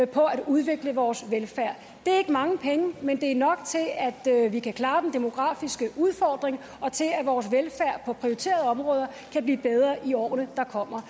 på at udvikle vores velfærd det er ikke mange penge men det er nok til at vi kan klare den demografiske udfordring og til at vores velfærd på prioriterede områder kan blive bedre i årene der kommer